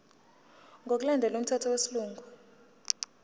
ngokulandela umthetho wesilungu